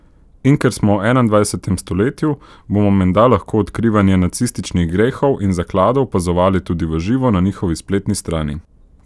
In ker smo v enaindvajsetem stoletju, bomo menda lahko odkrivanje nacističnih grehov ali zakladov opazovali tudi v živo na njihovi spletni strani.